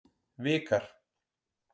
Vikar